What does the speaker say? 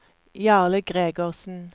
Jarle Gregersen